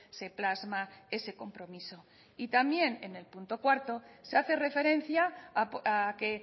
se plasma ese compromiso y también en el punto cuatro se hace referencia a que